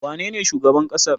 wane ne shugaban ƙasar?